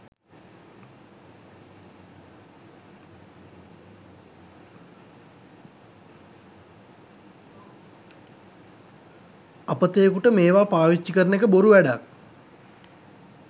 අපතයෙකුට මේවා පාවිච්චි කරන එක බොරු වැඩක්.